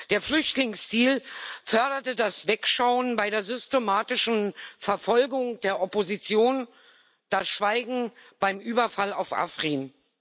Der Flüchtlingsdeal förderte das Wegschauen bei der systematischen Verfolgung der Opposition, das Schweigen beim Überfall auf Afrin.